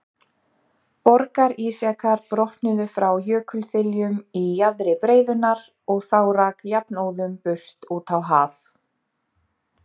Borgarísjakar brotnuðu frá jökulþiljum í jaðri breiðunnar og þá rak jafnóðum burt út á haf.